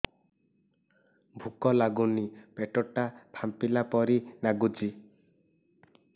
ଭୁକ ଲାଗୁନି ପେଟ ଟା ଫାମ୍ପିଲା ପରି ନାଗୁଚି